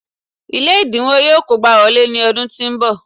Ilé ẹ̀dínwó yọ kógbá wọlé ní ọdún tó ń bọ̀